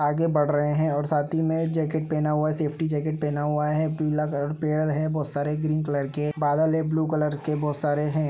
आगे बढ़ रहे हैं और साथी में जैकेट पहना हुआ है सेफ्टी जैकेट पहना हुआ है पीला कलर पेअर है बहोत सारे ग्रीन कलर के बादल हैं ब्लू कलर के बहोत सारे हैं ।